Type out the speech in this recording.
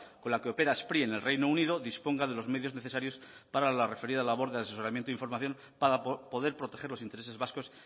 con la que opera spri en el reino unido disponga de los medios necesarios para la referida labor de asesoramiento e información para poder proteger los intereses vascos